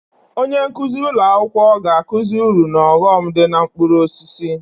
Onye nkuzi ụlọ akwụkwọ ga-akụzi uru na ọghọm dị na mkpụrụ osisi